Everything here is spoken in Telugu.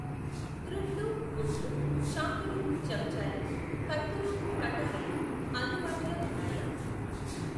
గ్రుడ్లు, గుడ్లు, చాకులు చెంచాలు, కత్తులూ, కటారులూ అందుబాటులో ఉన్నాయా?